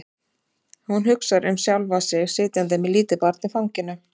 Hún hugsar um sjálfa sig sitjandi með lítið barn í fanginu.